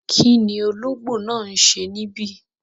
Kíni ọlọ́gbò náà ń ṣẹ̀ níbí?